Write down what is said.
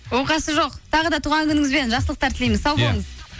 оқасы жоқ тағы да туған күніңізбен жақсылықтар тілейміз сау болыңыз